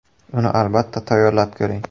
Uni albatta tayyorlab ko‘ring!